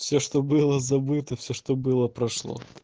все что было забыто все что было прошло